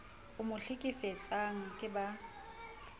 e mo hlekefetsang ke ba